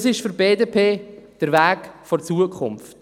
Das ist für die BDP der Weg der Zukunft.